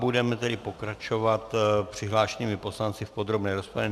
Budeme tedy pokračovat přihlášenými poslanci v podrobné rozpravě.